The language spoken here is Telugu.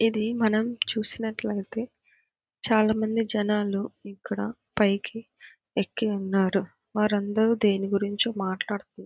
ఇది మనం చూసినట్లయితే చాలామంది జనాలు ఇక్కడ పైకి ఎక్కి ఉన్నారు. వారందరూ దేని గురించో మాట్లాడుతు --